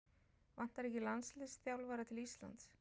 Vantar ekki landsliðsþjálfara til Íslands?